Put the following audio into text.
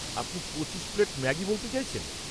আপনি পঁচিশ plate Maggi বলতে চাইছেন?